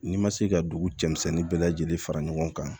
N'i ma se ka dugu cɛmisɛnnin bɛɛ lajɛlen fara ɲɔgɔn kan